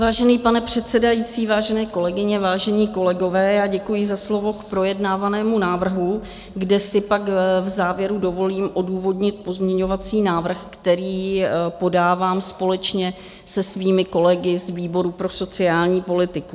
Vážený pane předsedající, vážené kolegyně, vážení kolegové, děkuji za slovo k projednávanému návrhu, kde si pak v závěru dovolím odůvodnit pozměňovací návrh, který podávám společně se svými kolegy z výboru pro sociální politiku.